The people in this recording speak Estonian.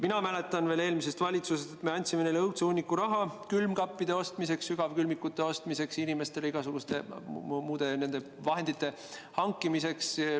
Mina mäletan veel eelmisest valitsusest, et me andsime neile õudse hunniku raha külmkappide ostmiseks, sügavkülmikute ostmiseks, inimestele igasuguste muude vahendite hankimiseks.